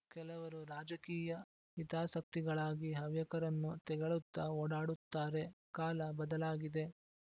ಕೆಲವರು ರಾಜಕೀಯ ಹಿತಾಸಕ್ತಿಗಳಾಗಿ ಹವ್ಯಕರನ್ನು ತೆಗಳುತ್ತಾ ಓಡಾಡುತ್ತಾರೆ ಕಾಲ ಬದಲಾಗಿದೆ